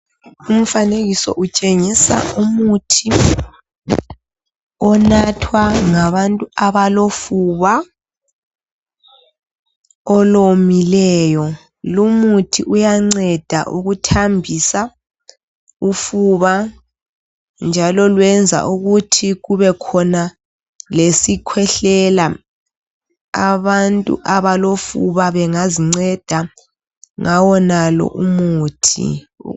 Umfanekiso utshengisa umuthi onathwa ngabantu abalofuba olomileyo, lumuthi uyanceda ukuthambisa ufuba njalo lwenza ukuthi kubekhona lesikhwehlela abantu abalofuba bengazinceda ngawonalo umuthi.